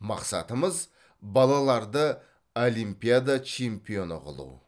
мақсатымыз балаларды олимпиада чемпионы қылу